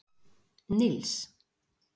Nils